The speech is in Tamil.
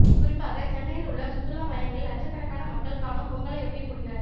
குறிப்பாக சென்னையில் உள்ள சுற்றுலா மையங்களில் லட்சக்கணக்கான மக்கள் காணும் பொங்கலையொட்டி கூடினர்